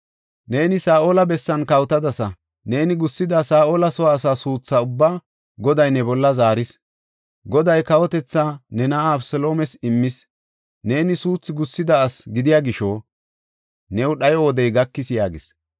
Neeni Saa7ola bessan kawotadasa; neeni gussida Saa7ola soo asaa suutha ubbaa Goday ne bolla zaaris. Goday kawotethaa ne na7aa Abeseloomes immis; neeni suuthu gussida asi gidiya gisho, new dhayo wodey gakis” yaagis.